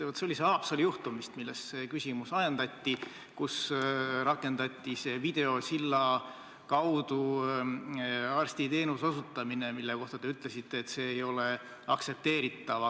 See oli see Haapsalu juhtum vist, mis selle küsimuse ajendas, kui rakendati videosilla kaudu arstiteenuse osutamist, mille kohta te ütlesite, et see ei ole aktsepteeritav.